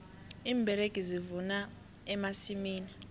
iimberegi zivuna emasimini